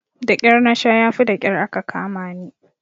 Daƙyar nasha yafi daƙyar aka kamani.